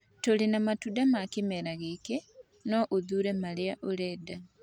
Tũrĩ na matunda ma kĩmera gĩkĩ, no ũthuure marĩa ũrenda.